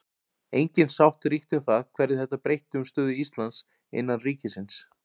Engin sátt ríkti um það hverju þetta breytti um stöðu Íslands innan ríkisins.